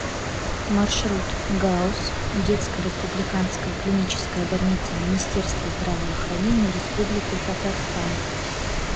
маршрут гауз детская республиканская клиническая больница министерства здравоохранения республики татарстан